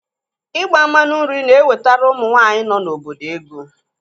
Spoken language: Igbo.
Ịgba mmanụ nri na-ewetara ụmụ nọ n'obodo ego.